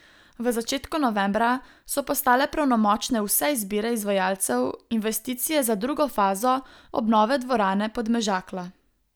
V začetku novembra so postale pravnomočne vse izbire izvajalcev investicije za drugo fazo obnove dvorane Podmežakla.